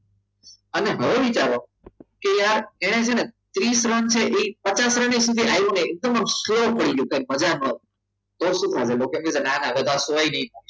અને હવે વિચારો કે યાર એને છે ને ત્રીસ રન છે એ પચાસ રન સુધી આવે ને એકદમ slow થઈ ગયો મજા આવે તો શું થશે? ના ના હવે ના સો ઐ નૈ થઈ